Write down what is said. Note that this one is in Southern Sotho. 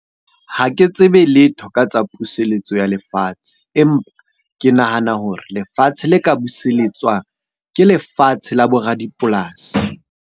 Ha ke tsebe letho ka tsa puseletso ya lefatshe. Empa ke nahana hore lefatshe le ka buseletswang, ke lefatshe la bo radipolasi.